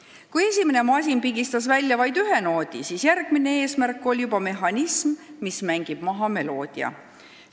] Kui esimene masin pigistas välja vaid ühe noodi, siis järgmine eesmärk oli juba mehhanism, mis mängib maha meloodia.